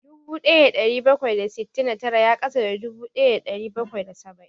Dubu ɗaya da ɗari bakwai da sittin da tara ya ƙasa da dubu ɗaya da ɗari bakwai da saba'in